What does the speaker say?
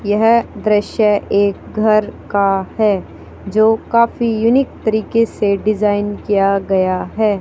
यह दृश्य एक घर का है जो काफी यूनिक तरीके से डिजाइन किया गया है।